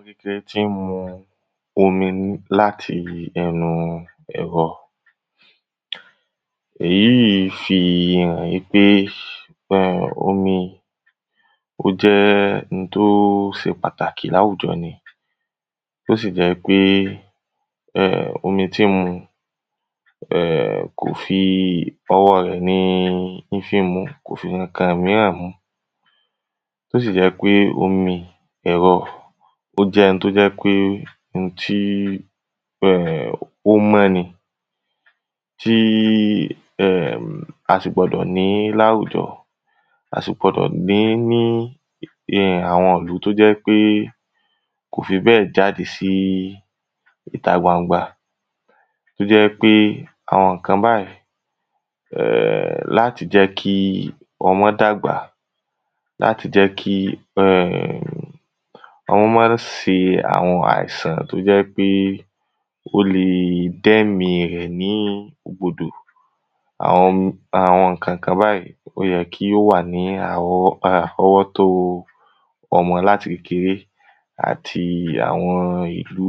ibi tẹ tí ń mu omi láti ẹnu ẹrọ eyí fihàn í pé omi ó jẹ́ n tó se pàtàkì láwùjọ ni tó sì jẹ́ pé omi tí ń mu ọwọ́ rẹ̀ ni í fí mu kò fi ǹkankan míràn mú tó sì jẹ́ ń pé omi ẹ̀rọ ó jẹ́ ń tó jẹ́ pé n tí ó mọ́ ni tí a sì gbọdọ̀ ní láwùjọ a sì gbọdọ̀ ní ní àwọn ìlú tó jẹ́ í pé kò fi bẹ́ẹ̀ jáde sí ìta gbangba tó jẹ́ pé àwọn ǹkan báyí láti jẹ́ kí ọmọ dàgbà láti jẹ́ kí ọ́ má sí àwọn àìsàn tó jẹ́ pé ó le dẹ́mi rẹ̀ ní ègbodò àwọn ǹkankan báyí ó yẹ kí ó wà ní àrọwọ́ rọ́wọ́ tó ọmọ láti kékeré àti àwọn ìlú